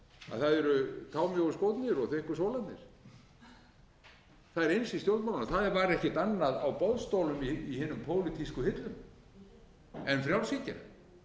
að það eru támjóir skórnir og þykkir sólarnir það er eins í stjórnmálunum það var ekkert annað á boðstólum í hinum pólitískum hillum en frjálshyggja